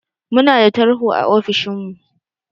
Munada tarho a ofishin mu